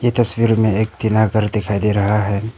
तस्वीर में एक टीना घर दिखाई दे रहा है।